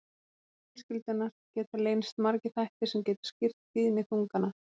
Innan fjölskyldunnar geta leynst margir þættir sem geta skýrt tíðni þungana.